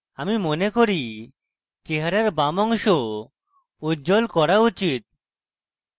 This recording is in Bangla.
আমি মনে করি চেহারার বাম অংশ উজ্জ্বল করা উচিত